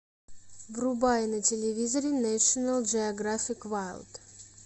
врубай на телевизоре нэшнл джиографик вайлд